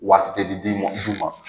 Waati tɛ di muman